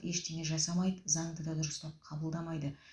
ештеңе жасамайды заңды да дұрыстап қабылдамайды